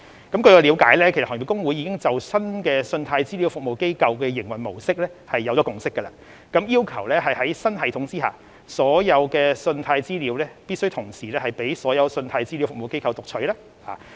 據我了解，行業公會已就新的信貸資料服務機構的營運模式達成共識，要求在新系統下，所有信貸資料必須同時開放予所有信貸資料服務機構讀取。